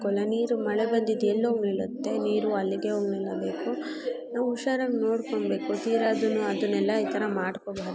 ಮಳೆ ಬಂದಿದ್ದು ಎಲ್ಲಿ ಹೋಗಿ ಬೀಳುತ್ತೆ ನೀರು ಅಲ್ಲೆ ಹೋಗಿ ನಿಲ್ಲಬೇಕು ನಾವು ಹುಷಾರಾಗಿ ನೋಡ್ಕೋ ಬೇಕು ತೀರಾ ಆಹ್ ತರ ಅದನೆಲ್ಲಾ ಮಾಡ್ಕೋಬರ್ದು --